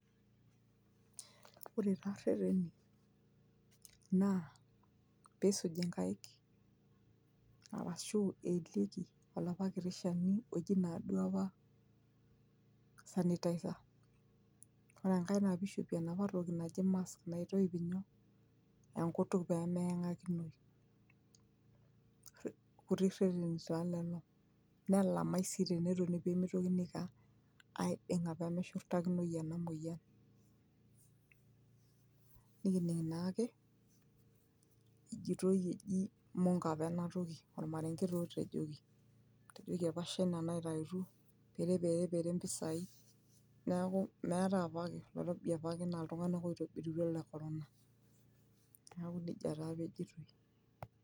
ore taa irreteni naa piisuji inkaik arashu eelieki olapa kiti shani oji naaduo apa sanitizer ore enkae naa pishopi enapa toki naji mask naitoip nyoo enkutuk pemeyang'akinoi irkuti reteni taa lelo nelamae sii tenetoni pemitokini aiko aa aiding'a pemeshurrtakinoi ena moyian nikining naake ejitoi eji imonko apa enatoki ormarenge taa otejoki, etejoki apa shaina naitaituo pereperepere impisai niaku meetae apake oloirobi apake naa iltung'anak oitobirutua le corona niaku nejia taa apa ejoitoi.